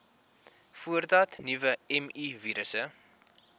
voordat nuwe mivirusse